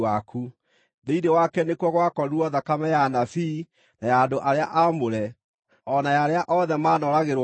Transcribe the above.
Thĩinĩ wake nĩkuo gwakorirwo thakame ya anabii, na ya andũ arĩa aamũre, o na ya arĩa othe manooragĩrwo gũkũ thĩ.”